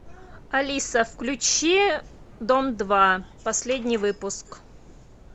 алиса включи дом два последний выпуск